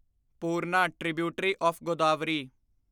Purna tributary of Godavari